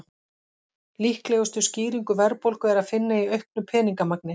Líklegustu skýringu verðbólgu er að finna í auknu peningamagni.